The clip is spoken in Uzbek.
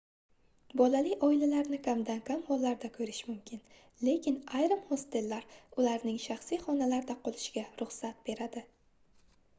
bolali oilalarni kamdan-kam hollarda koʻrish mumkin lekin ayrim hostellar ularning shaxsiy xonalarda qolishiga ruxsat beradi